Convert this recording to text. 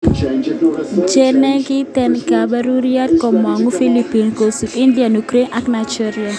Chenegiten kepeperiat komangune Philippines, kosubi India, Ukraine ak Nigeria.